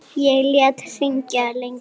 Ég lét hringja lengi.